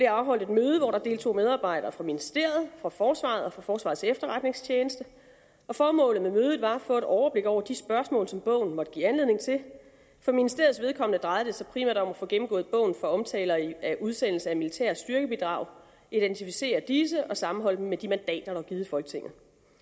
afholdt et møde hvor der deltog medarbejdere fra ministeriet fra forsvaret og fra forsvarets efterretningstjeneste formålet med mødet var at få et overblik over de spørgsmål som bogen måtte give anledning til for ministeriets vedkommende drejede det sig primært om at få gennemgået bogen for omtaler af udsendelse af militære styrkebidrag identificere disse og sammenholde dem med de mandater der var givet af folketinget